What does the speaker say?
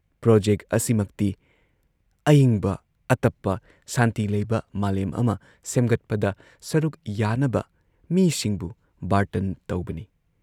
Project ꯑꯁꯤꯃꯛꯇꯤ ꯑꯏꯪꯕ, ꯑꯇꯞꯄ, ꯁꯥꯟꯇꯤ ꯂꯩꯕ ꯃꯥꯂꯦꯝ ꯑꯃ ꯁꯦꯝꯒꯠꯄꯗ ꯁꯔꯨꯛ ꯌꯥꯅꯕ ꯃꯤꯁꯤꯡꯕꯨ ꯕꯥꯔꯇꯟ ꯇꯧꯕꯅꯤ ꯫